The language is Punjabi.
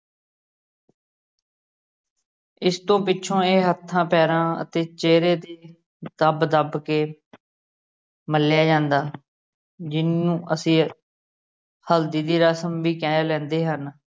ਇਸ ਤੋਂ ਪਿੱਛੋਂ ਇਹ ਹੱਥਾਂ ਪੈਰਾਂ ਅਤੇ ਚੇਹਰੇ ਦੀ ਦੱਬ ਦੱਬ ਕੇ ਮਲਿਆ ਜਾਂਦਾ ਜਿਨੂੰ ਅਸੀ ਹਲਦੀ ਦੀ ਰਸਮ ਵੀ ਕਹਿ ਲੈਂਦੇ ਹਨ।